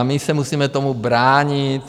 A my se musíme tomu bránit.